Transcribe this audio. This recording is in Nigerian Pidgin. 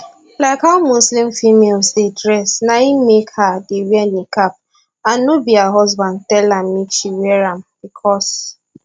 like how muslim females dey dress na im make her dey wear niqab and no be her husband tell am make she wear am becos